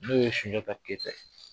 N'o ye sunjata keyita ye.